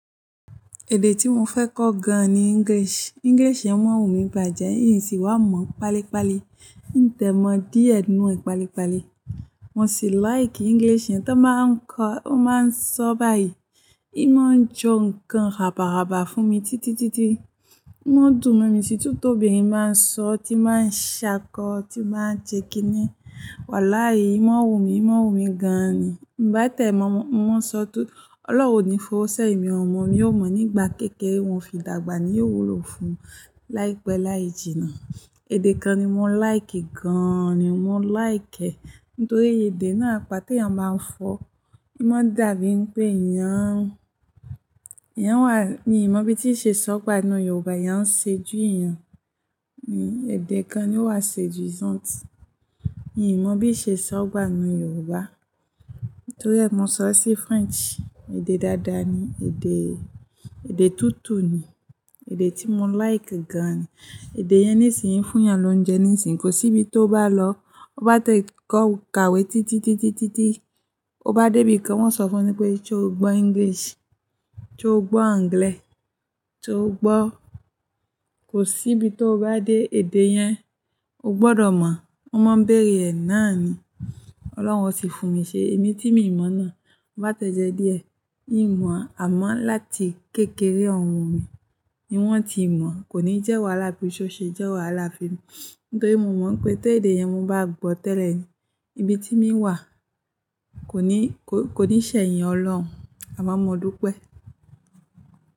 Èdè tí mo fẹ́ kọ gan ni English. English yẹn máa ń wù mí bàjẹ́, n sì wá mọ̀ páálí páálí. N tẹ̀ mọ díẹ̀ nínú ẹ̀ páálí páálí. Mo sì like English yẹn. Ton máa ń kọ, ó máa ń sọ báyìí. N máa ń jọ nǹkan raba-raba fún mi títí títí. Wọ́n dùn mo mi títú tóbirin báa ń sọ, tí máa ń ṣákọ, tí máa ń jẹ kíni. Wàlahi ń mo n wù mí, n moo ń wù mí gan ni. Bá tẹ mọ́, mo máa sọ tó-- Ọlọ́run ní fọwọ́ sẹ́ ìmi ò mọ̀, mi ò mọ̀ nígbà kékeré wọn fi dàgbà ni yóò wúlò fún láìpẹ́ láì jìnnà. Èdè kan ni mo like gan ni, mo like ẹ́ nítorí èdè náà, apá tí èèyàn máa ń fọ, í máa dàbí pé èèyàn, èèyàn wà, ni ìmo bí tí ṣe sọ gbà nínú Yorùbá, ìyẹn ń seduis èèyàn. Ni èdè kan ni ó wà seduisante. N ì mo bí ṣe sọ gbà nínú Yorùbá. Nítorí ẹ́, mo sọ sí French, èdè dáadáa ni, èdè, èdè tútù ni, èdè tí mo like gan ni. Èdè yẹn nísinsìnyí fún èèyàn ló ń jẹ nísinsìnyí. Kò sí ibi tó bá lọ, o bá tẹ ìkọ́, o kàwé títí títí títí títí, o bá dé ibìkan wọn sọ fún ni pé ṣé o gbọ́ English? Ṣé o gbọ́ Anglẹ? Ṣé o gbọ́? Ko si ibi tó bá dé, èdè yẹn ó gbọ́dọ̀ mo wọ́n máa ń bèrè ẹ̀ náà ni. Ọlọ́run o sì fún mi ṣé, èmi tí mo ìmọ̀ náà, mo bá tẹ́jẹ́ díẹ̀, ì mọ̀ amọ́ láti kékeré òhun mi ni wọ́n ti ìmọ̀. Kò ní jẹ́ wàhálà bí ṣo ṣe jẹ́ wàhálà fún mi. Nítorí mo mọ̀ pé tó èdè yẹn mo bá gbọ́ tẹ́lẹ̀ ni ibi tí mi wà, kò ní, kò, kò ní ṣẹ̀yìn Ọlọ́run àmọ́ mo dúpẹ́.